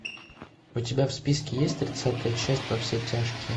у тебя в списке есть тридцатая часть во все тяжкие